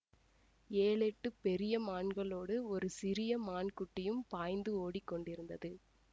ஏழெட்டுப் பெரிய மான்களோடு ஒரு சிறிய மான் குட்டியும் பாய்ந்து ஓடிக்கொண்டிருந்தது